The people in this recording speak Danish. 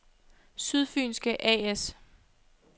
Sydfynske A/S